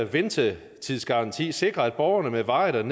ventetidsgaranti sikrer at borgerne med varigt